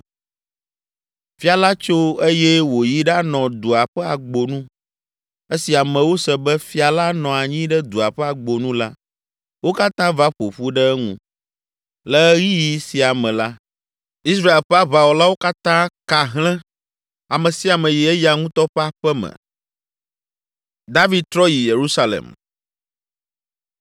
Fia la tso eye wòyi ɖanɔ dua ƒe agbonu. Esi amewo se be, “Fia la nɔ anyi ɖe dua ƒe agbonu” la, wo katã va ƒo ƒu ɖe eŋu. Le ɣeyiɣi sia me la, Israel ƒe aʋawɔlawo katã ka hlẽ: ame sia ame yi eya ŋutɔ ƒe aƒe me.